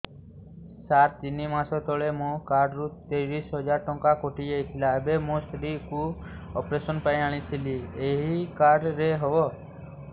ସାର ତିନି ମାସ ତଳେ ମୋ କାର୍ଡ ରୁ ତିରିଶ ହଜାର ଟଙ୍କା କଟିଯାଇଥିଲା ଏବେ ମୋ ସ୍ତ୍ରୀ କୁ ଅପେରସନ ପାଇଁ ଆଣିଥିଲି ଏଇ କାର୍ଡ ରେ ହବ